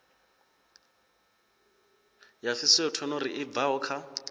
ya phytosanitary i bvaho kha